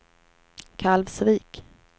Kalvsvik